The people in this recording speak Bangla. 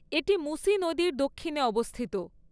এটি মুসি নদীর দক্ষিণে অবস্থিত।